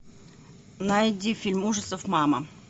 найди фильм ужасов мама